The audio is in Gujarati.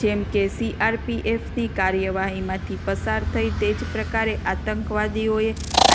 જેમ કે સીઆરપીએફની કાર્યવાહીમાંથી પસાર થઇ તે જ પ્રકારે આતંકવાદીઓએ